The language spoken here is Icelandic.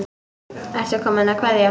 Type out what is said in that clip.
Ertu kominn að kveðja?